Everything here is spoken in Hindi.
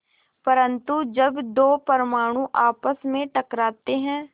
परन्तु जब दो परमाणु आपस में टकराते हैं